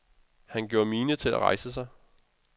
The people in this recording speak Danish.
Han gjorde mine til at rejse sig.